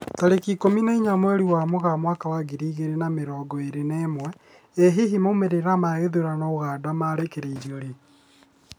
Tarĩki ikũmi na inya mweri wa Mũgaa mwaka wa ngiri igĩri na mĩrongo ĩri na ĩmwe, ĩ hihi maumĩrĩra ma gĩthurano Uganda makarekererio rĩ?